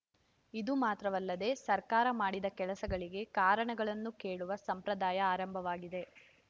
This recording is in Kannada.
ಇದು ಮಾತ್ರವಲ್ಲದೆ ಸರ್ಕಾರ ಮಾಡಿದ ಕೆಲಸಗಳಿಗೆ ಕಾರಣಗಳನ್ನು ಕೇಳುವ ಸಂಪ್ರದಾಯ ಆರಂಭವಾಗಿದೆ